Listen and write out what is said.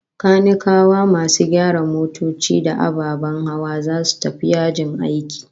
Kanikawa, masu gyara motoci da ababen hawa, zasu tafi yajin aiki